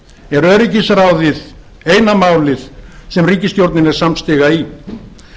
er öryggisráðið eina málið sem ríkisstjórnin er samstiga í